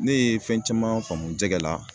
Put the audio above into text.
Ne ye fɛn caman faamu jɛgɛ la